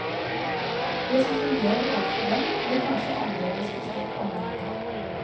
Det som fungerer overfor dem, blir kanskje annerledes forstått av mennene.